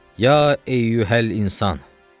Ya əyyuhəl insan.